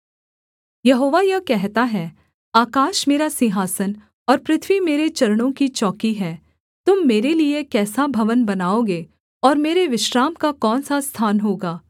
यहोवा यह कहता है आकाश मेरा सिंहासन और पृथ्वी मेरे चरणों की चौकी है तुम मेरे लिये कैसा भवन बनाओगे और मेरे विश्राम का कौन सा स्थान होगा